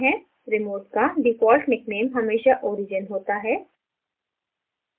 remote का default nickname हमेशा origin होता है